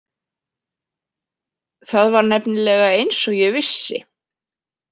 Það var nefnilega eins og ég vissi.